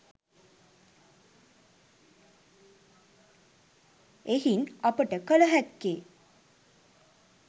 එහින් අපට කල හැක්කේ